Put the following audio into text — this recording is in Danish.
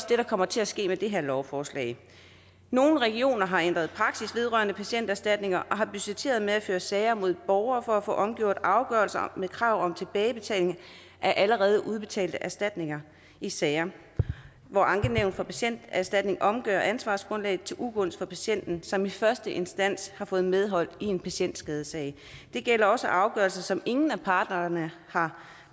der kommer til at ske med det her lovforslag nogle regioner har ændret praksis vedrørende patienterstatning og har budgetteret med at føre sager mod borgere for at få omgjort afgørelser med krav om tilbagebetaling af allerede udbetalte erstatninger i sager hvor ankenævnet for patienterstatningen omgør ansvarsgrundlaget til ugunst for patienten som i første instans har fået medhold i en patientskadesag det gælder også afgørelser som ingen af parterne har